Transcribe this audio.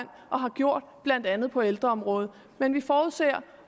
og har gjort blandt andet på ældreområdet men vi forudser